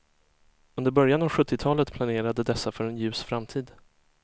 Under början av sjuttiotalet planerade dessa för en ljus framtid.